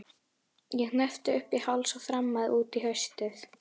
Ég hneppti upp í háls og þrammaði út í haustið.